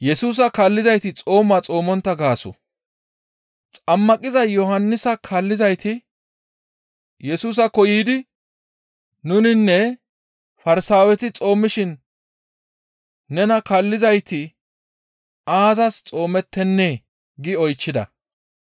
Xammaqiza Yohannisa kaallizayti Yesusaakko yiidi, «Nuninne Farsaaweti xoomishin nena kaallizayti aazas xoomettennee?» gi oychchida.